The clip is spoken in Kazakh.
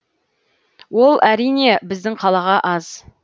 ол әрине біздің қалаға аз